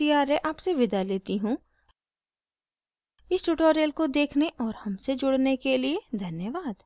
* I I T Bombay से मैं श्रुति आर्य आपसे विदा लेती हूँ